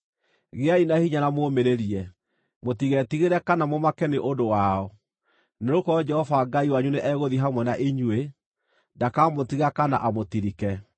Gĩai na hinya na mũũmĩrĩrie. Mũtigetigĩre kana mũmake nĩ ũndũ wao, nĩgũkorwo Jehova Ngai wanyu nĩ egũthiĩ hamwe na inyuĩ; ndakamũtiga kana amũtirike.”